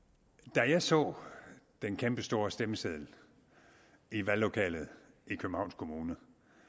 da jeg så den kæmpestore stemmeseddel i valglokalet i københavns kommune